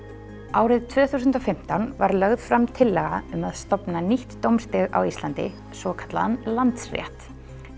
árið tvö þúsund og fimmtán var lögð fram tillaga um að stofna nýtt dómsstig á Íslandi svokallaðan Landsrétt